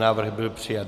Návrh byl přijat.